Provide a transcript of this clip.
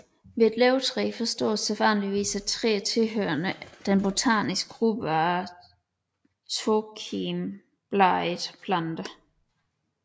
Ved et løvtræ forstås sædvanligvis et træ tilhørende den botaniske gruppe af tokimbladede planter